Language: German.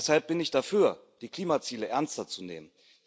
Deshalb bin ich dafür, die Klimaziele ernster zu nehmen.